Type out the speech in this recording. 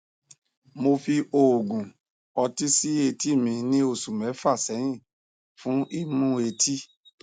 mo fi òògùn ọtí sí etí mi ní oṣù mẹfà sẹyìn fún imú etí